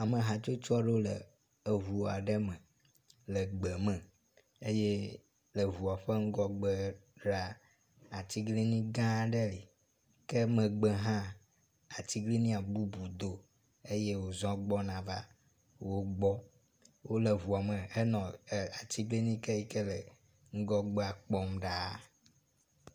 Ame hatsotso aɖewo le ŋu aɖe me le gbe me eye le ŋua ƒe ŋgɔgbe ɖaa, atiglinyi gã aɖe li ke megbe hã atiglinyia bubu do eye wozɔ̃ gbɔna va wo gbɔ. Wole ŋua me henɔ er atiglinyi ke le ŋgɔgbea kpɔm ɖaa.